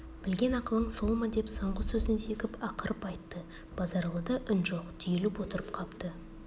білген ақылың сол ма деп соңғы сөзін зекіп ақырып айтты базаралыда үн жоқ түйіліп отырып қапты